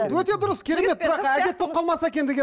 өте дұрыс керемет бірақ әдет болып қалмаса екен